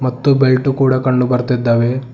ಮತ್ತು ಬೆಲ್ಟು ಕೂಡ ಕಂಡು ಬರ್ತಿದ್ದಾವೆ.